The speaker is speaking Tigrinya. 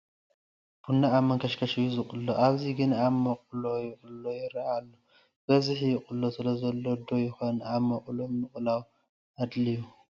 ቡና ኣብ መንከሽከሽ እዩ ዝቑሎ፡፡ ኣብዚ ግን ኣብ መቑሎ ይቑሎ ይርአየና ኣሎ፡፡ ብብዝሒ ይቕሎ ስለዘሎ ዶ ይኽን ኣብ መቑሎ ምቕላው ኣድልዩ?